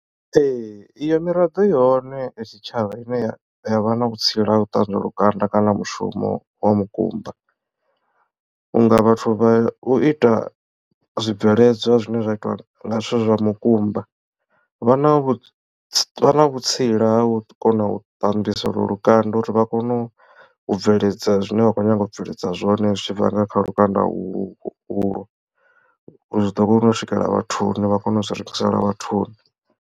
Ee iyo miraḓo ihone ya tshitshavha ine ya ya vha na vhutsila ha u ṱanzwa lukanda kana mushumo wa mukumba vhunga vhathu vha u ita zwibveledzwa zwine zwa itiwa nga zwithu zwa mukumba vha na vhu vha na vhutsila ha u kona u ṱambisa lukanda uri vha kone u bveledza zwine vha khou nyanga u bveledza zwone zwi tshi bva nga kha lukanda ulwo zwi ḓo kona u swikelela vhathuni vha kone u zwi rengisela vhathuni.